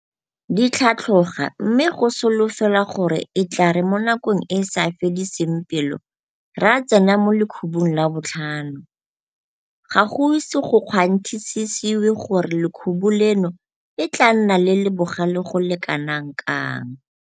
di tlhatlhoga mme go solofelwa gore e tla re mo nakong e e sa fediseng pelo ra tsena mo lekhubung la botlhano, ga go ise go kgwanthisisewe gore lekhubu leno e tla nna le le bogale go le kanakang.